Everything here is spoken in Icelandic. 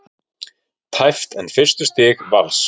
Tæpt en fyrstu stig Vals